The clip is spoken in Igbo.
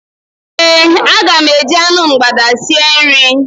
Ee, aga m eji anụ mgbada sie nri.